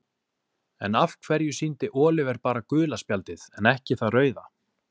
En af hverju sýndi Oliver bara gula spjaldið en ekki það rauða?